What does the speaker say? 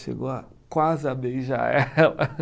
Chegou a quase a beijar ela.